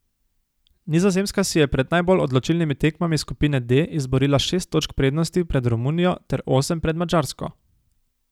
Nizozemska si je pred najbolj odločilnimi tekmami skupine D izborila šest točk prednosti pred Romunijo ter osem pred Madžarsko.